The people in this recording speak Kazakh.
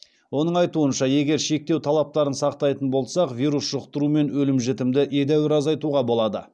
оның айтуынша егер шектеу талаптарын сақтайтын болсақ вирус жұқтыру мен өлім жітімді едәуір азайтуға болады